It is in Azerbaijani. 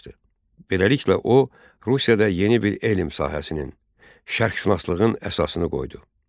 Beləliklə, o, Rusiyada yeni bir elm sahəsinin, şərqşünaslığın əsasını qoydu.